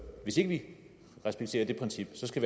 hvis ikke vi respekterer det princip skal